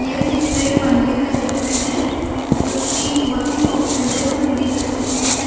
ये चित्र एक मंदिर का चित्र है जो कि बहुत ही खूबसूरत मंदिर का चित्र है इसमें।